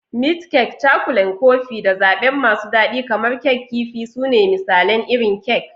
Meat kek, Cakulan Kofin, da zaɓe masu daɗi kamar Kek Kifi su ne misalan irin kek.